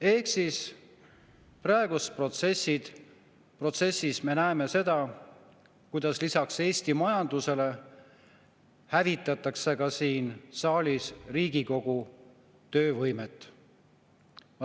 Ehk praeguses protsessis me näeme seda, kuidas lisaks Eesti majandusele hävitatakse ka siin saalis Riigikogu töövõimet.